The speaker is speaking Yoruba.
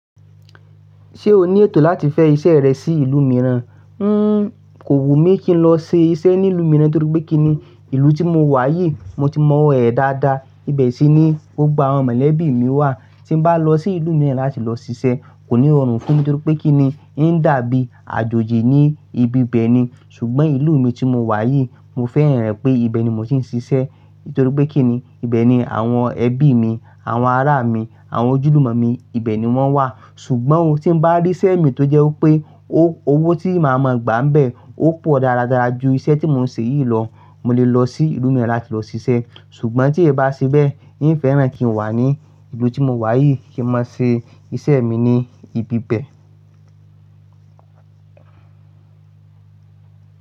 Ṣé o ní ètò láti fẹ́ iṣẹ́ rẹ sí ìlú mìíràn? Hmmm kò wù mí kí n lọ ṣe iṣẹ́ ní ìlú mìíràn torípé kí ni, ìlú tí mo wà yìí mo ti mọ̀wọ́ rẹ̀ dáadáa, ibẹ̀ sì ni gbogbo àwọn mọ̀lẹ́bí mi wà. Tí n bá lọ sí ìlú mìíràn láti lọ ṣiṣẹ́ kò ní rọrùn fún mi torípé kí ni, ń dàbí àjòjì ni ibi bẹ́ẹ̀ ni, ṣùgbọ́n ìlú mi tí mo wà yìí mo fẹ́ràn re pé ibẹ̀ ni mo ti ń ṣiṣẹ́ torípé kí ni, ibẹ̀ ni àwọn ẹbí mi, àwọn ará mi, àwọn ojúlùmọ̀ mi, ibẹ̀ ni wọ́n wà. Ṣùgbọ́n oh, tí n bá rí iṣẹ́ mi tó jẹ́ wípé ó owó tí màá mọ gbà ń bẹ ó pọ̀ dáradára ju iṣẹ́ tí mò ń ṣe yìí lọ, mo lè lọ sí ìlú mìíràn láti lọ ṣiṣẹ́. Ṣùgbọ́n tí e bá ṣe bẹ́ẹ̀, yín fẹ́ràn kí n wà ní ìlú tí mo wà yìí kí n máa ṣe iṣẹ́ mi ní ibi bẹ́ẹ̀